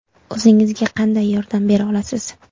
O‘zingizga qanday yordam bera olasiz?